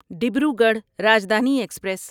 Dibrugarh Rajdhani express